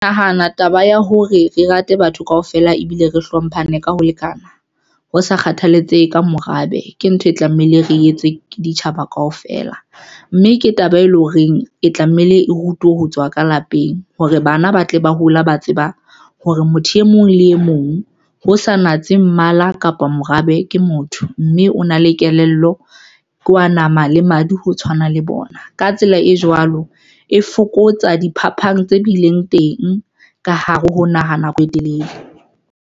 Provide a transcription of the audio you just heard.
Nahana taba ya hore re rate batho kaofela ebile re hlomphane ka ho lekana, ho sa kgathalatsehe ka morabe ke ntho e tlamehile re etse ditjhaba kaofela mme ke taba e leng horeng e tlamehile e rutwe ho tswa ka lapeng. Hore bana ba tle ba hola. Ba tseba hore motho e mong le e mong ho sa natse mmala kapa morabe ke motho mme o na le kelello, ke wa nama le madi, ho tshwana le bona. Ka tsela e jwalo, e fokotsa diphapang tse bileng teng ka hare ho naha nako e telele.